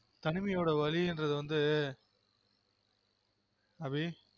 தனிமையொட வலியிந்றது வந்து அபி